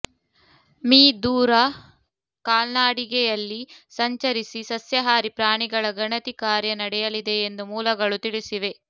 me ದೂರ ಕಾಲ್ನಡಿಗೆಯಲ್ಲಿ ಸಂಚರಿಸಿ ಸಸ್ಯಾಹಾರಿ ಪ್ರಾಣಿಗಳ ಗಣತಿ ಕಾರ್ಯ ನಡೆಯಲಿದೆ ಎಂದು ಮೂಲಗಳು ತಿಳಿಸಿವೆ